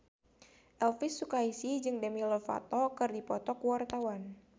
Elvy Sukaesih jeung Demi Lovato keur dipoto ku wartawan